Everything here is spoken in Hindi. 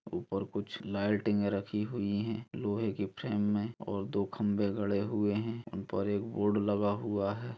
उपर कुछ लाइटिंग रखी हुई है लोहे की फ्रेम मे और दो खंभे गड़े हुए है ऊपर एक बोर्ड लगा हुआ है ।